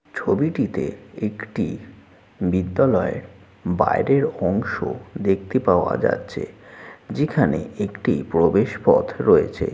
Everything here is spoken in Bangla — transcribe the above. ছবিটিতে একটি বিদ্যালয়ের বাইরের অংশ দেখতে পাওয়া যাচ্ছে যেখানে একটি প্রবেশ পথ রয়েছে।